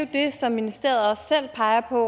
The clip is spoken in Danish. det som ministeriet også selv peger på